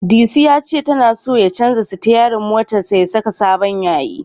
Disu ya ce tana so ya canja sitiyarin motarsa ya saka sabon yayi.